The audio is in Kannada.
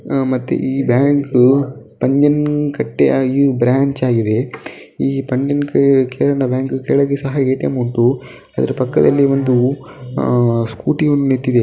ಆ ಮತ್ತೆ ಈ ಬ್ಯಾಂಕು ಪಂಜನಕಟ್ಟೆ ಬ್ರಾಂಚ್ ಆಗಿದೆ. ಈ ಪಂಜನಕಟ್ಟೆ ಬ್ಯಾಂಕು ಕೆಳಗೆ ಕೂಡ ಎ.ಟಿ.ಎಂ ಉಂಟು. ಇದರ ಪಕ್ಕದಲ್ಲಿ ಒಂದು ಸ್ಕೂಟಿ ಕೂಡ ನಿಂತಿದೆ.